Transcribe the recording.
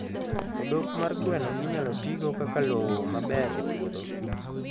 Odok mar gweno inyalo tigo kaka lowo maber e puodho.